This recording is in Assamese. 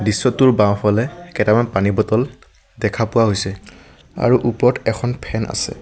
দৃশ্যটোৰ বাওঁফালে কেটামান পানীৰ বটল দেখা পোৱা গৈছে আৰু ওপৰত এখন ফেন আছে।